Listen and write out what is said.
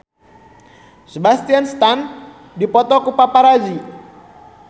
Sebastian Stan dipoto ku paparazi